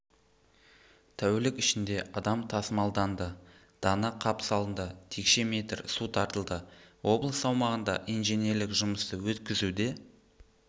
тәулік ішінде адам тасымалданды дана қап салынды текше метр су тартылды облыс аумағында инженерлік жұмысты өткізуде